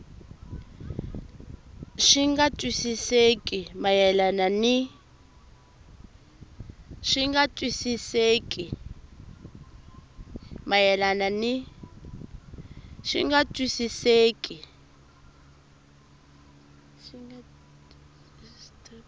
swi nga twisisekeki mayelana ni